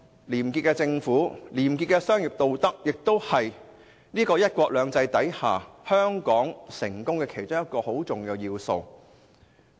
廉潔的政府和廉潔的商業道德，也是香港在"一國兩制"下賴以成功的重要元素。